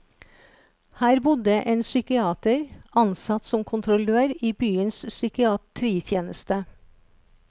Her bodde en psykiater, ansatt som kontrollør i byens psykiatritjeneste.